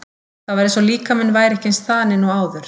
Það var eins og líkaminn væri ekki eins þaninn og áður.